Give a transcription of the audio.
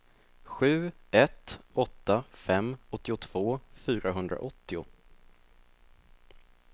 sju ett åtta fem åttiotvå fyrahundraåttio